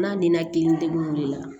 N'a denna kelen tɛ o de la